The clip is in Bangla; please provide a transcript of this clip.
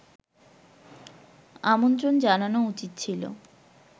আমন্ত্রণ জানানো উচিত ছিল